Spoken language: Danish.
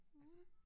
Cool